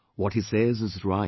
What he says is right